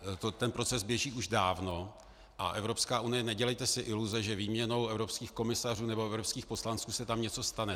Ten proces běží už dávno a Evropská unie, nedělejte si iluze, že výměnou evropských komisařů nebo evropských poslanců se tam něco stane.